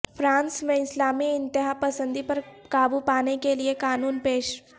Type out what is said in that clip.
France میں اسلامی انتہاپسندی پر قابو پانے کے لیے قانون پیش